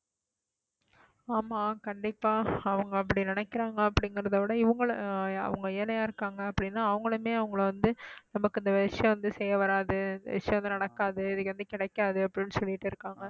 ஆமா கண்டிப்பா அவங்க அப்படி நினைக்கிறாங்க அப்படிங்கிறதை விட இவங்கள அவங்க ஏழையா இருக்காங்க அப்படின்னா அவங்களுமே அவங்களை வந்து நமக்கு இந்த விஷயம் வந்து செய்யவராது, இந்த விஷயம் வந்து நடக்காது, இது எப்படியும் கிடைக்காது அப்படி இப்படின்னு சொல்லிட்டிருக்காங்க